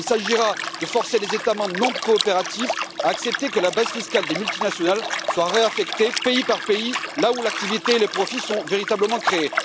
Il s'agira de forcer les États membres non coopératifs à accepter que la base fiscale des multinationales soit réaffectée, pays par pays, là où l'activité et les profits sont véritablement créés.